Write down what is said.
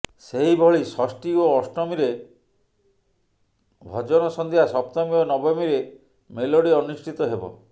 ସେହିଭଳି ଷଷ୍ଠୀ ଓ ଅଷ୍ଟମୀରେ ଭଜନ ସନ୍ଧ୍ୟା ସପ୍ତମୀ ଓ ନବମୀରେ ମେଲୋଡି ଅନୁଷ୍ଠିତ ହେବ